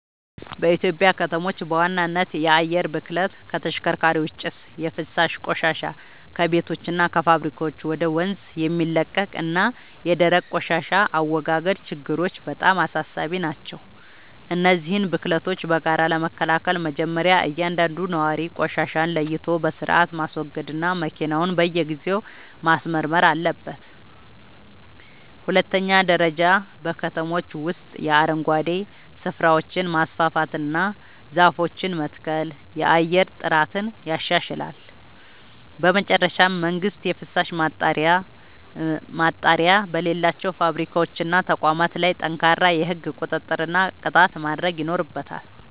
በኢትዮጵያ ከተሞች በዋናነት የአየር ብክለት (ከተሽከርካሪዎች ጭስ)፣ የፍሳሽ ቆሻሻ (ከቤቶችና ከፋብሪካዎች ወደ ወንዝ የሚለቀቅ) እና የደረቅ ቆሻሻ አወጋገድ ችግሮች በጣም አሳሳቢ ናቸው። እነዚህን ብክለቶች በጋራ ለመከላከል መጀመርያ እያንዳንዱ ነዋሪ ቆሻሻን ለይቶ በሥርዓት ማስወገድና መኪናውን በየጊዜው ማስመርመር አለበት። በሁለተኛ ደረጃ በከተሞች ውስጥ የአረንጓዴ ስፍራዎችን ማስፋፋትና ዛፎችን መትከል የአየር ጥራትን ያሻሽላል። በመጨረሻም መንግሥት የፍሳሽ ማጣሪያ በሌላቸው ፋብሪካዎችና ተቋማት ላይ ጠንካራ የሕግ ቁጥጥርና ቅጣት ማድረግ ይኖርበታል።